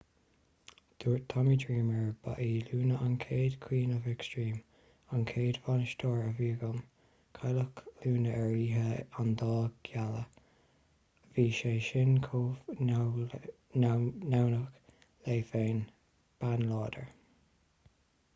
dúirt tommy dreamer ba í luna an chéad queen of extreme an chéad bhainisteoir a bhí agam cailleadh luna ar oíche an dá ghealaí bhí sé sin chomh neamhghnách léi féin bean láidir